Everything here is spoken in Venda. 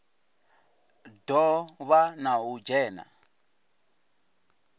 do vha na u dzhena